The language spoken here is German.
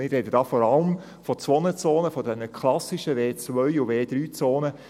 Ich spreche hier vor allem von zwei Zonen, von den klassischen W2- und W3-Zonen.